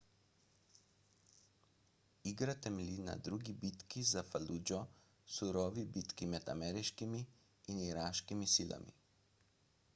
igra temelji na drugi bitki za faludžo surovi bitki med ameriškimi in iraškimi silami